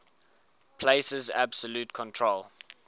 places absolute control